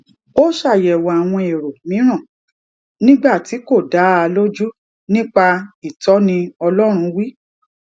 ó ṣàyẹwò àwọn èrò mìíràn nígbà tí kò dá a lójú nípa ìtọni ọlọrun wí